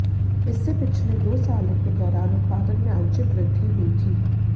इससे पिछले दो सालों के दौरान उत्पादन में आंशिक वृद्धि हुई थी